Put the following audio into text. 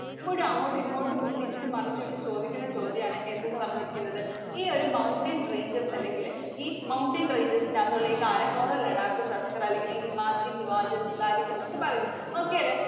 എപ്പഴും അങ്ങോട്ടും, ഇങ്ങോട്ടും തിരിച്ചും, മറിച്ചും ഇട്ടു ചോദിക്കണ ചോദ്യം ആണ്. എന്തെന്നു പറഞ്ഞിരിക്കുന്നത്? ഈ ഒരു mountain ranges അല്ലെങ്കില് ഈ mountain ranges ന്‍റെ അകത്തുള്ള ഈ കാരക്കോറവും, ലഡാക്കും സാസ്കറും അല്ലെങ്കില്‍ ഈ ഹിമാദ്രി, ഹിമാചല്‍, സിവാലിക് എന്നൊക്കെ പറയുന്നത്. okay അല്ലേ?